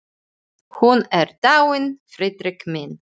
Hún er dáin, Friðrik minn.